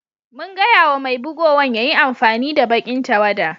Mun gaya ma mai bugowan ya yi amfani da baki'n tawada.